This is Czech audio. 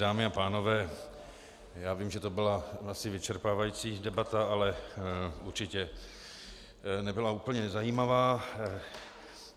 Dámy a pánové, já vím, že to byla asi vyčerpávající debata, ale určitě nebyla úplně nezajímavá.